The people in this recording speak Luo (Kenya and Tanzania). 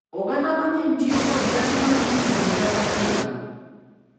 Oganda mang’eny tiyo kod nyasi ma itimo higa ka higa